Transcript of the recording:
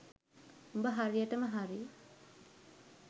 උඹ හරියටම හරි